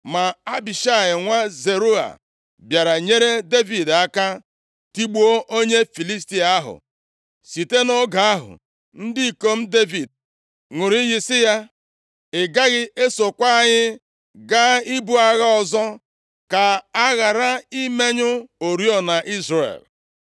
Ma Abishai nwa Zeruaya bịara nyere Devid aka, tigbuo onye Filistia ahụ. Site nʼoge ahụ, ndị ikom Devid ṅụrụ iyi sị ya, “Ị gaghị esokwa anyị gaa ibu agha ọzọ! Ka a ghara imenyụ oriọna Izrel.”